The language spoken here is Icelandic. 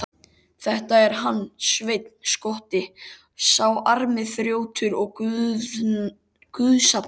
Þetta er hann Sveinn skotti, sá armi þrjótur og guðsafneitari.